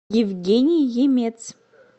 евгений емец